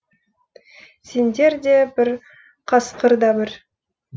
сендер де бір қасқыр да бір